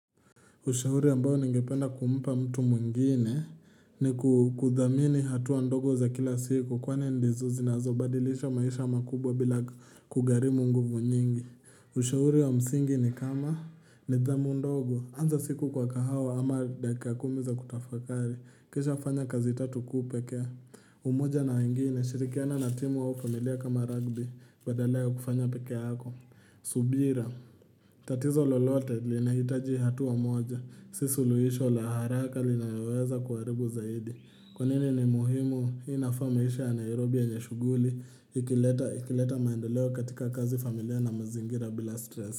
Ushauri ambao ningependa kumpa mtu mwengine ni kuthamini hatua ndogo za kila siku kwani ndizo zinazobadilisha maisha makubwa bila kugharimu nguvu nyingi. Ushauri wa msingi ni kama nidhamu ndogo, anza siku kwa kahawa ama daka kumi za kutafakari, kisha fanya kazi tatu kuu pekee. Umoja na wengine, shirikiana na timu au familia kama rugby, badala ya kufanya pekee yako. Subira, tatizo lolote linahitaji hatua moja si suluhisho la haraka linayoweza kuharibu zaidi. Kwa nini ni muhimu? Hii inafaa maisha ya Nairobi yenye shuguli Ikileta maendeleo katika kazi familia na mazingira bila stress.